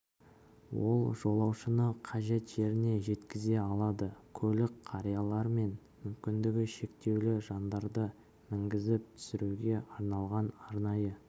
ол жолаушыны қажет жеріне жеткізе алады көлік қариялар мен мүмкіндігі шектеулі жандарды мінгізіп түсіруге арналған арнайы